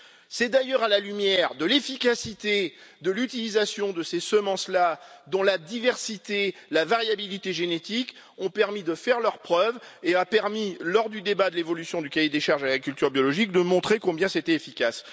C'est d'ailleurs à la lumière de l'efficacité de l'utilisation de ces semences là, dont la diversité, la variabilité génétique ont permis de faire leurs preuves, qu'il a été possible, lors du débat sur l'évolution du cahier des charges de l'agriculture biologique, de montrer combien c'était efficace.